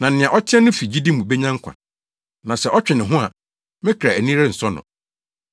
Na, “Nea ɔteɛ no fi gyidi mu benya nkwa, na sɛ ɔtwe ne ho a, me kra ani rensɔ no.”